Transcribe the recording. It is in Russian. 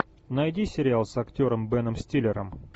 найди сериал с актером беном стиллером